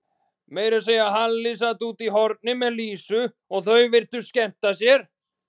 Meira að segja Halli sat úti í horni með Lísu og þau virtust skemmta sér.